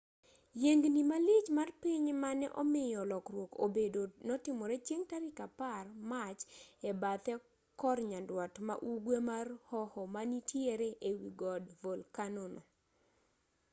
yiengni malich mar piny mane omiyo lokruok obedo notimore chieng' tarik 10 mach e bathe kor nyandwat ma ugwe mar hoho manitiere e wi god volkano no